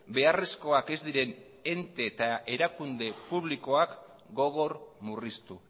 beharrezkoak ez diren ente eta erakunde publikoak gogor murriztu